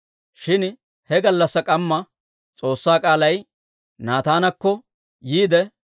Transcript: Shin he gallassaa k'amma S'oossaa k'aalay Naataanakko yiide,